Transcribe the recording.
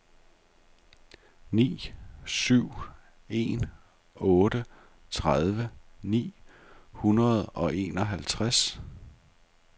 ni syv en otte tredive ni hundrede og enoghalvtreds